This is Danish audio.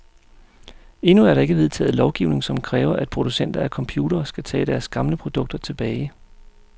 Endnu er der ikke vedtaget lovgivning, som kræver, at producenter af computere skal tage deres gamle produkter tilbage.